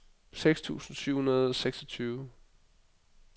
seks tusind syv hundrede og seksogtyve